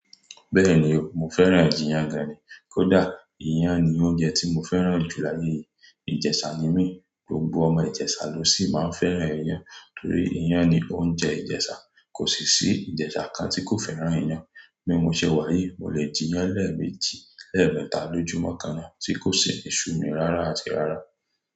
Bẹ́ẹ̀ni o, mo fẹ́ràn iyan gan ni, kódà iyán ni oúnjẹ tí mo fẹ́ràn jù láyé yìí. Ìjẹ̀ṣà ni mí, gbogbo ọmọ ìjẹ̀ṣà ló sì máa ń fẹ́ràn iyán, torí iyán ni oúnjẹ ìjẹ̀ṣà, kò sì ṣí ìjẹ̀ṣà kan tí kò fẹ́ràn iyán. Bí mo ṣe wá yi, mo lè jẹ iyán lẹ́ẹ̀mejì lẹ́ẹ̀mẹ́ta lójúmọ́ kan láti kò sì ṣú mi rárá àti rárá.